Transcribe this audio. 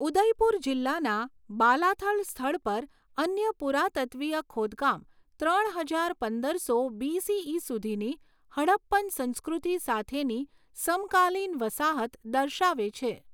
ઉદયપુર જિલ્લાના બાલાથલ સ્થળ પર અન્ય પુરાતત્ત્વીય ખોદકામ ત્રણ હજાર પંદરસો બીસીઈ સુધીની હડપ્પન સંસ્કૃતિ સાથેની સમકાલીન વસાહત દર્શાવે છે.